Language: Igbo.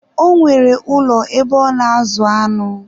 Ọ nwere ụlọ ebe ọ na-azụ aṅụ.